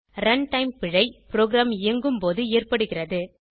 run time பிழை program இயங்கும் போது ஏற்படுகிறது